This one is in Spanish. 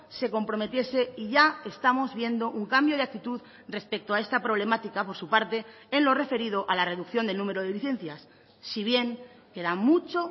se comprometiese y ya estamos viendo un cambio de actitud respecto a esta problemática por su parte en lo referido a la reducción del número de licencias si bien queda mucho